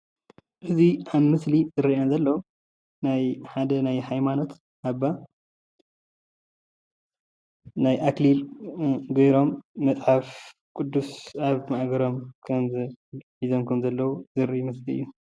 እዙይ ኣብ ምስሊ ዝርአ ዘሎ ናይ ሓደ ናይ ሃይምኖት ኣባ ናይ ኣክሊል ገይሮም መፅሓፎ ቅዱስ ኣብ ማእገሮም ሒዞም ከም ዘለው ዘሪኢ ምስሊ እዩ።